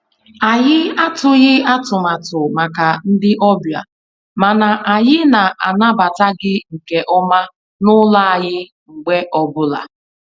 Anyị atụghị atụmatụ màkà ndị ọbịa, mana anyị na-anabata gị nke ọma n'ụlọ anyị mgbe ọ bụla.